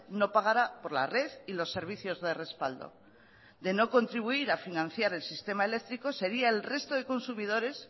no pagara por la red y los servicios de respaldo de no contribuir a financiar el sistema eléctrico sería el resto de consumidores